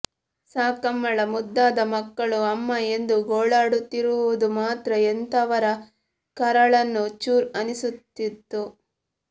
ಸಾಕಮ್ಮಳ ಮುದ್ದಾದ ಮಕ್ಕಳು ಅಮ್ಮ ಎಂದು ಗೋಳಾಡುತ್ತಿರುವುದು ಮಾತ್ರ ಎಂತವರ ಕರಳನ್ನು ಚುರ್ ಅನಿಸುತ್ತಿತ್ತು